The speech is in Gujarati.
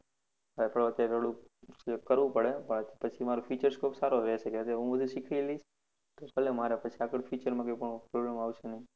આ તો અત્યારે થોડુક ફરવું પડે પછી મારો future scope સારો રેહશે, હું જે શીખીશ ભલે મારે આગળ future માં કોઈ આગળ problem આવશે નહીં.